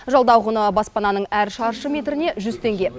жалдау құны баспананың әр шаршы метріне жүз теңге